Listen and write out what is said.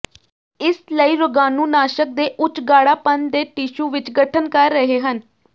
ਇਸ ਲਈ ਰੋਗਾਣੂਨਾਸ਼ਕ ਦੇ ਉੱਚ ਗਾੜ੍ਹਾਪਣ ਦੇ ਟਿਸ਼ੂ ਵਿੱਚ ਗਠਨ ਕਰ ਰਹੇ ਹਨ